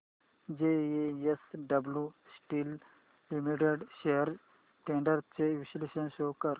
JSW steel limited shares trends चे विश्लेषण show कर